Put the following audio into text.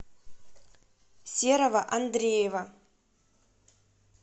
серого андреева